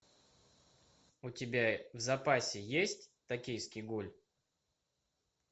у тебя в запасе есть токийский гуль